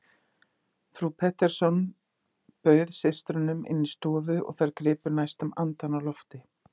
Frú Pettersson bauð systrunum inn í stóra stofu og þær gripu næstum andann á lofti.